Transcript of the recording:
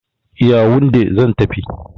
Yawunde zan tafi.